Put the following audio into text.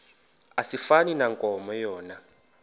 asifani nankomo yona